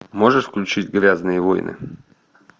можешь включить грязные войны